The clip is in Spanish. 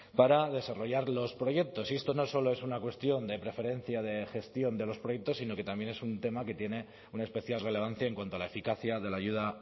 para desarrollar los proyectos y esto no solo es una cuestión de preferencia de gestión de los proyectos sino que también es un tema que tiene una especial relevancia en cuanto a la eficacia de la ayuda